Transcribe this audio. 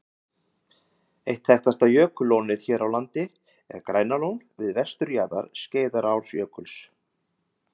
Eitt þekktasta jökullónið hér á landi er Grænalón við vesturjaðar Skeiðarárjökuls.